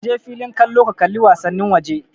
Kaje filin kallo ka kalli wasannin waje